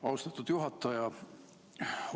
Austatud juhataja!